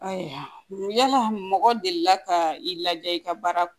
Ayiwa yala mɔgɔ delila ka i laja i ka baara